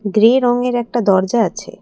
Grey রংয়ের একটা দরজা আছে।